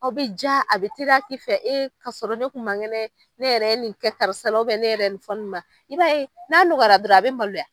Aw be ja, a bi teriya ki fɛ, e ka sɔrɔ ne kun man kɛnɛ ne yɛrɛ nin kɛ karisa la, ne yɛrɛ ye nin fɔ, nin ma, i b'a ye, n'a nɔgɔyara dɔrɔn be malo.